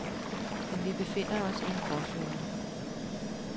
Men vi befinder os i en gråzone.